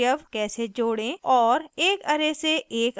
* एक array से एक अवयव कैसे हटायें